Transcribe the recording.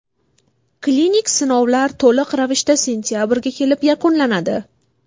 Klinik sinovlar to‘liq ravishda sentabrga kelib yakunlanadi.